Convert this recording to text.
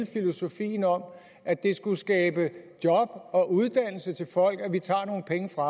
filosofi om at det skulle skabe job og uddannelse til folk at vi tager nogle penge fra